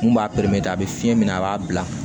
Mun b'a a bɛ fiɲɛ minɛ a b'a bila